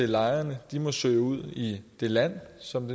lejrene må søge ud i det land som